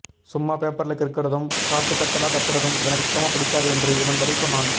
சும்மா பேப்பருல கிருக்குறதும் காட்டு கத்தலா கத்துறதும் எனக்கு சுத்தமா பிடிக்காது என்று இவன் பதில் சொன்னான்